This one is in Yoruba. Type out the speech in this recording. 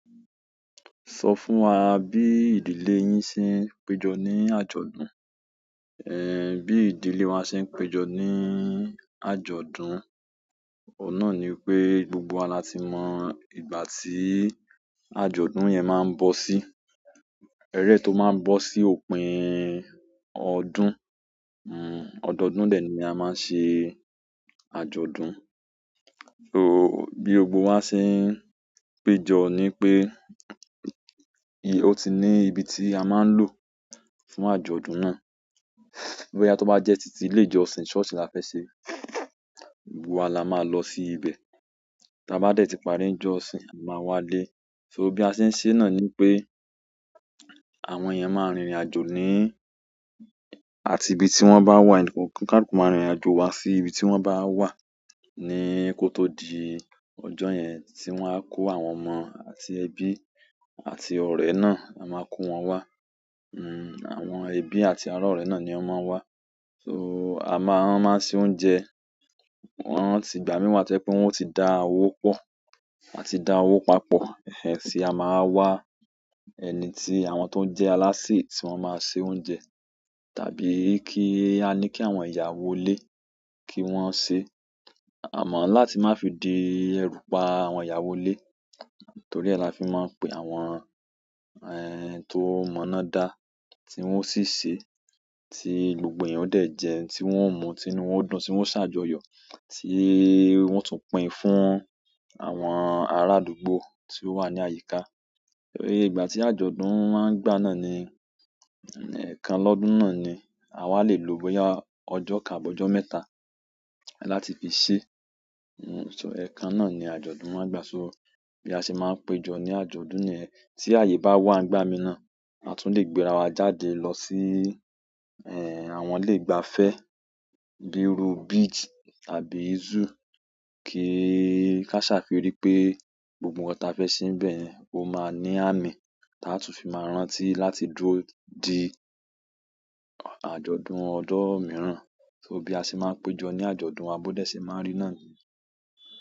Sọ fún wa bí ìdílé yín ṣe ń péjọ ní àjọ̀dún. Eh, bí ìdílé wa ṣe ń péjọ ní àjọ̀dún, oun náà ni pé gbogbo wa la ti mọ ìgbà tí àjọ̀dún yẹn máa ń bọ sí. Eleyi tó máa ń bọ sí òpin ọdún, hm, ọdọdún dẹ̀ ni a máa ń ṣe àjọ̀dún. So bí gbogbo wa ṣe ń péjọ ni pé, o ti ní ibi tí a máa ń lò fún àjọ̀dún náà. Boya to ba jẹ titi ile ìjọsìn church la fẹ se, gbogbo wa la ma lọ si ibẹ. Ti a bá dẹ̀ ti parí ìjọsìn, a máa wá lé. So bí a ṣe ń ṣe náà ni pé àwọn èèyàn máa rìnrìnàjò ní àti ibi tí wọ́n bá wà, kaluku máa rìnrìnàjò wá sí ibi tí wọ́n bá wà. Ni kó tó di ọjọ́ yẹn tí wọ́n á kó àwọn ọmọ àti ẹbí àti ọ̀rẹ́ náà, a máa kó wọn wá. Hmm. Àwọn ẹbi àti ara, ọrẹ náà ni wọn ma n wa. So a máa ń ṣe oúnjẹ. Wọ́n sì, ìgbà míi wa to jẹ pé wọ́n ó ti dá owó pọ̀, wọ́n ti dá owó papọ̀. Ẹ̀ẹ̀, ti a máa wá wa ẹni tí àwọn tó ń jẹ́ aláṣẹ tí wọ́n máa ṣe oúnjẹ tàbí kí a ní kí àwọn ìyàwó ilé kí wọ́n ṣe. Àmọ́ láti má fi di ẹrú pa àwọn ìyàwó ilé torí ẹ́ la fi máa ń pe àwọn, ẹ́h, tó mọ́ná dá tí wọ́n sì ṣe, tí gbogbo èèyàn dẹ̀ jẹun, tí wọ́n mú, tí inú wọn dùn, tí wọ́n ṣàjọyọ̀, tí wọ́n tún pín fún àwọn arádúgbò tí ó wà ní àyíká. Iye ìgbà tí àjọ̀dún maá ń gbà náà ni, ẹ̀ẹkan lọ́dún náà ni. Àwa le lò bóyá ọjọ́ kan àbí ọjọ́ mẹ́ta láti fi ṣe. So ẹ̀kan náà ni àjọ̀dún máa ń gba. So bí a ṣe máa ń péjọ ní àjọ̀dún nìyẹn. Tí ààyè bá wà ń gba mi náà, a tún lè gbéra wa jáde lọ sí, eh, àwọn ilé ìgbafẹ́ bí i ru beach tàbí zoo kí ká ṣà fi ri pé gbogbo nǹkan tí a fẹ́ ṣe níbẹ̀ ó máa ní àmì tí a tún fi máa rántí láti dúró di àjọ̀dún ọdún mìíràn. So bí a ṣe máa ń péjọ ní àjọ̀dún wa, bó dé ṣe máa ń rí náà ni.